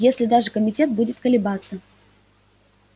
если даже комитет будет колебаться